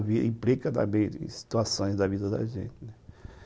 Ela implica em situações da vida da gente, né?